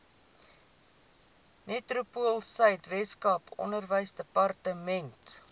metropoolsuid weskaap onderwysdepartement